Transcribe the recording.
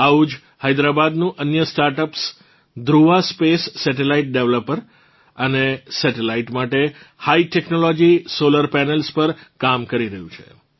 આવું જ હૈદ્રાબાદનું અન્ય સ્ટાર્ટઅપ્સધ્રુવા સ્પેસ સેટેલાઇટ ડિપ્લોયર અને સેટેલાઇટ માટે હાઈ ટેક્નોલોજી સોલર પેનલ્સ પર કામ કરી રહ્યું છે